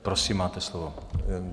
Prosím, máte slovo.